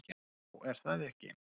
Já, er það ekki?